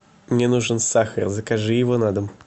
мне нужен сахар закажи его на дом